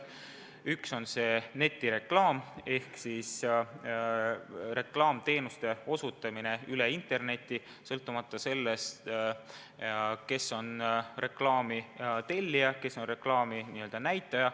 Üks on netireklaam ehk reklaamteenuste osutamine internetis, sõltumata sellest, kes on reklaami tellija ja kes on reklaami n-ö näitaja.